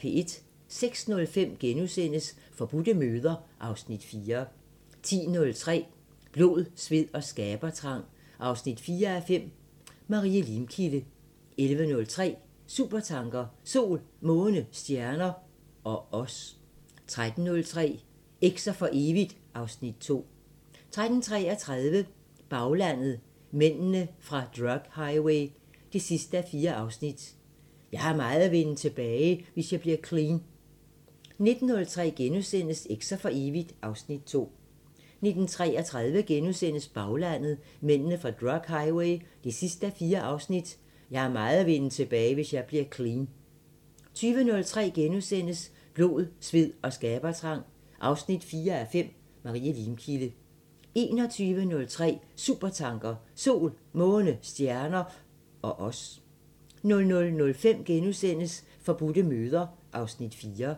06:05: Forbudte møder (Afs. 4)* 10:03: Blod, sved og skabertrang 4:5 – Marie Limkilde 11:03: Supertanker: Sol, måne, stjerner ... og os 13:03: Eks'er for evigt (Afs. 2) 13:33: Baglandet: Mændene fra drug highway 4:4 – "Jeg har meget at vinde tilbage, hvis jeg bliver clean" 19:03: Eks'er for evigt (Afs. 2)* 19:33: Baglandet: Mændene fra drug highway 4:4 – "Jeg har meget at vinde tilbage, hvis jeg bliver clean" * 20:03: Blod, sved og skabertrang 4:5 – Marie Limkilde * 21:03: Supertanker: Sol, måne, stjerner ... og os 00:05: Forbudte møder (Afs. 4)*